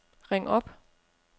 ring op